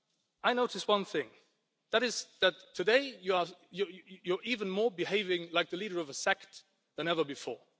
I noticed one thing and that is that today you are even more behaving like the leader of a sect than ever before.